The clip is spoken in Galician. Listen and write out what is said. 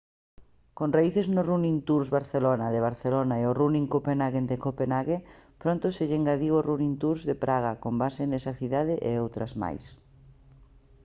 con raíces no running tours barcelona de barcelona e o running copenhagen de copenhague pronto se lle engadiu o running tours de praga con base nesa cidade e outras máis